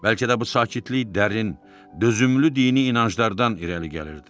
Bəlkə də bu sakitlik dərin, dözümlü dini inanclardan irəli gəlirdi.